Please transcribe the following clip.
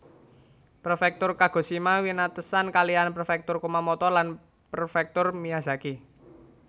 Prefektur Kagoshima winatesan kalihan Prefektur Kumamoto lan Prefektur Miyazaki